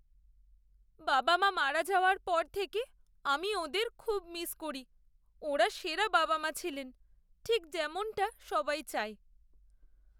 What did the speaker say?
বাবা মা মারা যাওয়ার পর থেকে আমি ওঁদের খুব মিস করি। ওঁরা সেরা বাবা মা ছিলেন, ঠিক যেমনটা সবাই চায়।